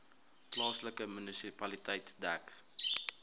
plaaslike munisipaliteit dek